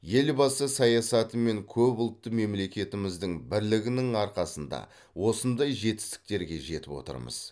елбасы саясаты мен көпұлтты мемлекетіміздің бірлігінің арқасында осындай жетістіктерге жетіп отырмыз